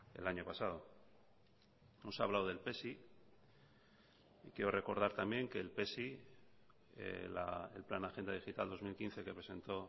el año pasado nos ha hablado del pesi y quiero recordar también que el pesi el plan agenda digital dos mil quince que presentó